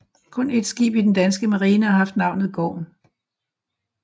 Kun ét skib i den danske Marine har haft navnet Gorm